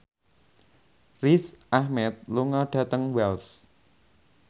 Riz Ahmed lunga dhateng Wells